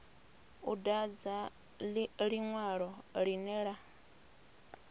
u dadza linwalo linwe na